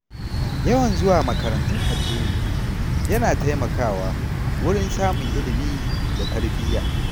Yawan zuwa makarantun addini yana taimakawa wurin samun ilimi da tarbiyya.